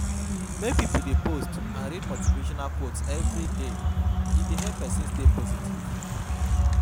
Make pipo de post and read motivational quotes everyday e dey help persin stay positive